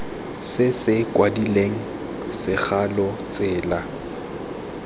se se kwadilweng segalo tsela